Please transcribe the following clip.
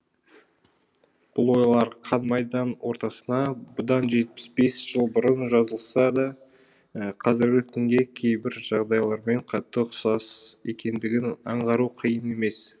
бұл ойлары қан майдан ортасына бұдан жетпіс бес жыл бұрын жазылса да қазіргі күнгі кейбір жағдайлармен қатты ұқсас екендігін аңғару қиын емес